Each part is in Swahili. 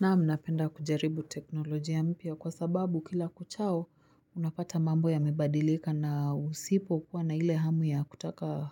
Naam, napenda kujaribu teknolojia mpya kwa sababu kila kuchao unapata mambo yamebadilika na usipo kuwa na ile hamu ya kutaka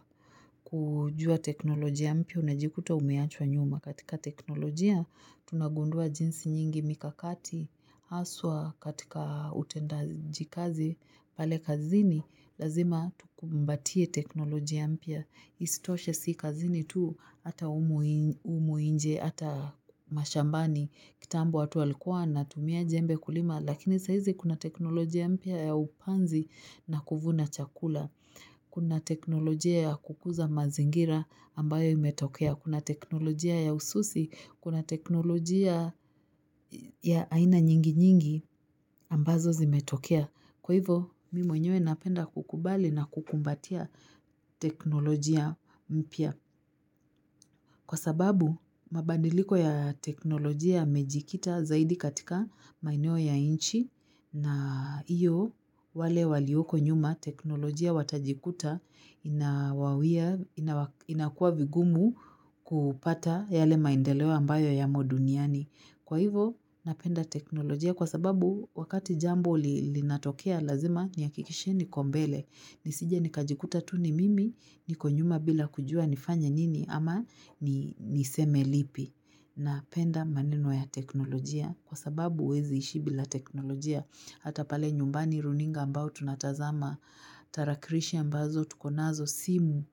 kujua teknolojia mpya unajikuta umeachwa nyuma. Katika teknolojia tunagundua jinsi nyingi mikakati haswa katika utendaji kazi pale kazini lazima tukumbatie teknolojia mpya. Isitoshe si kazini tu hata humu nje hata mashambani. Kitambo watu walikuwa wantumia jembe kulima lakini saizi kuna teknolojia mpya ya upanzi na kuvuna chakula. Kuna teknolojia ya kukuza mazingira ambayo imetokea. Kuna teknolojia ya ususi. Kuna teknolojia ya aina nyingi nyingi ambazo zimetokea. Kwa hivyo mimi mwenyewe napenda kukubali na kukumbatia teknolojia mpya. Kwa sababu mabadiliko ya teknolojia yamejikita zaidi katika maeneo ya nchi na iyo wale walioko nyuma teknolojia watajikuta inakuwa vigumu kupata yale maendeleo ambayo yamo duniani. Kwa hivyo, napenda teknolojia kwa sababu wakati jambo linatokea lazima, nihakikishe niko mbele. Nisije nikajikuta tu ni mimi, niko nyuma bila kujua nifanye nini ama niseme lipi. Napenda maneno ya teknolojia kwa sababu huwezi ishi bila teknolojia. Hata pale nyumbani runinga ambao tunatazama, tarakilishi ambazo tuko nazo, simu.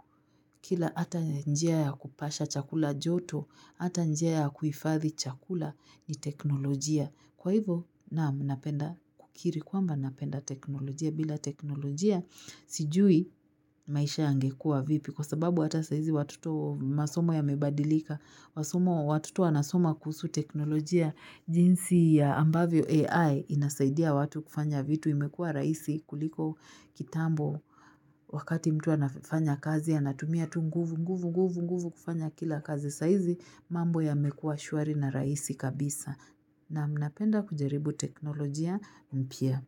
Kila hata njia ya kupasha chakula joto, hata njia ya kuhifadhi chakula ni teknolojia. Kwa hivyo, naam, napenda kukiri. Kwamba napenda teknolojia. Bila teknolojia sijui maisha yangekuwa vipi. Kwa sababu hata saizi watoto, masomo yamebadilika, masomo watoto wanasoma kuhusu teknolojia, jinsi ya ambavyo AI inasaidia watu kufanya vitu, imekua rahisi kuliko kitambo wakati mtu anafanya kazi anatumia tu nguvu nguvu nguvu nguvu kufanya kila kazi sahizi mambo yamekuwa shwari na rahisi kabisa naam, napenda kujaribu teknolojia mpya.